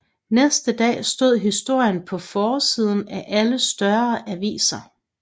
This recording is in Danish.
Næste dag stod historien på forsiden af alle større aviser